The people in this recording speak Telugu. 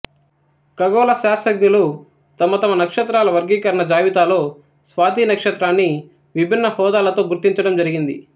ఖగోళ శాస్త్రజ్ఞులు తమ తమ నక్షత్రాల వర్గీకరణ జాబితాలో స్వాతి నక్షత్రాన్ని విభిన్న హోదాలతో గుర్తించడం జరిగింది